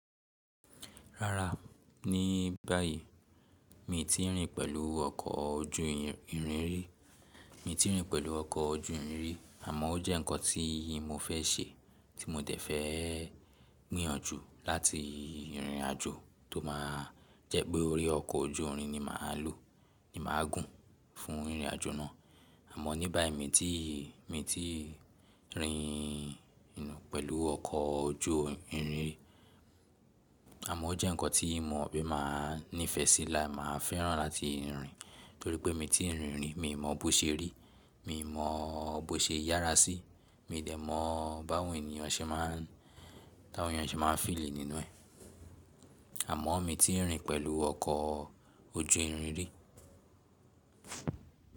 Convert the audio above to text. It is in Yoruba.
Rárá, ní báyìí mi i tí ì rìn pẹ̀lú ọkọ̀ ojú ìrìn ri, mi i tí ì rìn pẹ̀lú ọkọ̀ ojú ìrìn rí àmọ́ ó jẹ́ ǹkan tí mo fẹ́ ṣe tí mo dẹ̀ fẹ́ gbìyànjú láti rìnrìn-àjò tó máa jẹ́ pé orí ọkọ̀ ojú irin ni màá lò, ni màá gùn fún ìrìn-àjò náà. Àmọ́ ní báyìí mi i tí ì, mi i tí ì rìn pẹ̀lú ọkọ̀ ojú irin ri àmọ́ ó jẹ́ ǹkan tí mo mo pe máa nífẹ̀ẹ́ sí la máa fẹ́ràn láti rìn torí pé mi i tí ì rìn rí, mi i mọ bó ṣe rí, mi i mọ bó ṣe yára sí, mi i dẹ̀ mọ báwọn ènìyàn ṣe máa n, táwọn èeyàn e ṣe máa n feel nínú ẹ. Àmọ́ mi ò tí ì rìn pẹ̀lú ọkọ̀ ojú irin rí.